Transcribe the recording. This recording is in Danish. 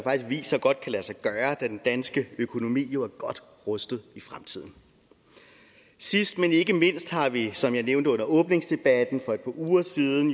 viser godt kan lade sig gøre da den danske økonomi jo er godt rustet i fremtiden sidst men ikke mindst har vi som jeg nævnte under åbningsdebatten for et par uger siden